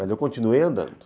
Mas eu continuei andando.